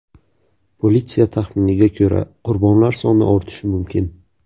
Politsiya taxminiga ko‘ra, qurbonlar soni ortishi mumkin.